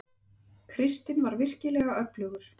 Kristinn var virkilega öflugur.